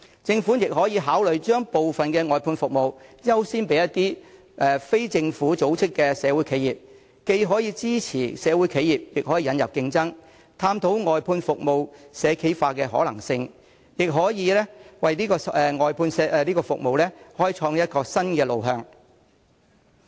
政府也可以考慮把部分外判服務合約優先批予非政府組織的社會企業，既可支持社會企業，亦可引入競爭，探討外判服務社企化的可能性，也可以為外判服務開創新路向。